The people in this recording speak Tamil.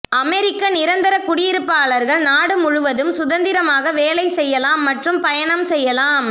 அமெரிக்க நிரந்தர குடியிருப்பாளர்கள் நாடு முழுவதும் சுதந்திரமாக வேலை செய்யலாம் மற்றும் பயணம் செய்யலாம்